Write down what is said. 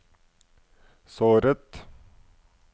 såret